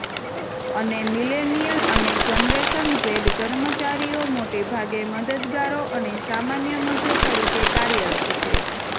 અને મિલેનિયલ અને generation Z કર્મચારીઓ મોટેભાગે મદદગારો અને સામાન્ય મજૂર તરીકે કાર્યરત છે